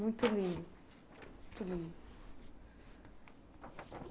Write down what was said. Muito lindo.